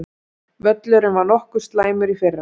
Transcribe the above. Völlurinn var nokkuð slæmur í fyrra?